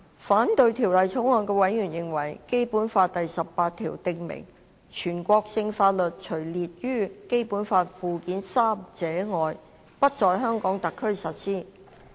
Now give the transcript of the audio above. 反對《條例草案》的委員認為，《基本法》第十八條訂明，全國性法律除列於《基本法》附件三者外，不在香港特區實施。